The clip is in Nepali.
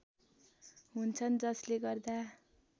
हुन्छन् जसले गर्दा